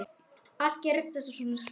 Allt gerðist þetta svo hratt.